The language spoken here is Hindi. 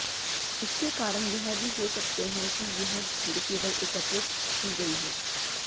इसके कारण यह भी हो सकते हैं कि यह भीड़ केवल एकत्रित की गई हो